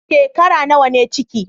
Shekara nawa ne ciki?